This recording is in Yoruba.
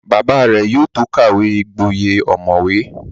Bàbá rẹ̀ yóò tó kàwé gboyè ọ̀mọ̀wé